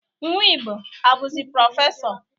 Nwigbo a buzi prọfesọ?